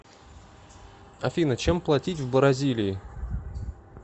афина чем платить в бразилии